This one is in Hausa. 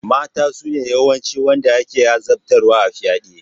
Mata sune yawancin wanda ake azabtarwa a fyaɗe.